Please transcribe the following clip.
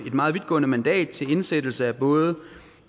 meget vidtgående mandat til indsættelse af både